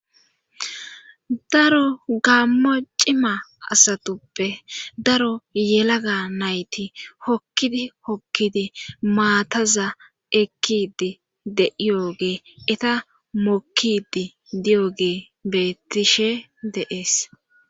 daro gammo cima asatuppe daro yelaga nayti hokkidi hokkidi maataza ekkidi de7iyo gee eta mokkidi diyo gee beettishe deees